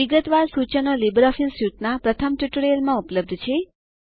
વિગતવાર સૂચનો લીબરઓફીસ સ્યુટના પ્રથમ ટ્યુટોરીયલમાં ઉપલબ્ધ છે